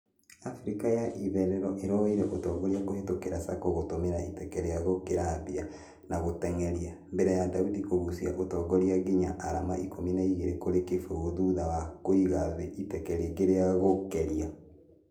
africa ya itherero ĩroire ũtongoria kũhĩtũkĩra sako gũtũmĩra iteke rĩa gũkĩrabia na gũtengeria. Mbere ya daudi kũgucia ũtongoria nginya arama ikũmi na igĩrĩ kũrĩ kĩbũgũ thutha wa kũiga thĩ iteke rĩngĩ rĩa gũkeria.